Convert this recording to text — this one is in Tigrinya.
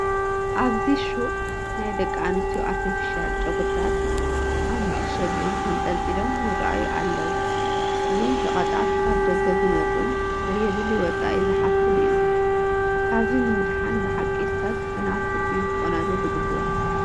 ኣብዚ ሹቕ ናይ ደቂ ኣንስትዮ ኣርተፊሻል ጨጉሪታት ኣብ መዓሸጊኦም ተንጠልጢሎም ይርአዩ ኣለዉ፡፡ እዞም ሸቐጣት ካብ ደገ ዝመፁን ዘየድሊ ወፃኢ ዝሓቱን እዮም፡፡ ካብዚ ንምድሓን ብሓቂ ሰብ ብናቱ እዩ ክቆናጆ ዝግባእ፡፡